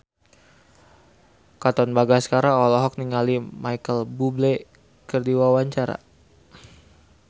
Katon Bagaskara olohok ningali Micheal Bubble keur diwawancara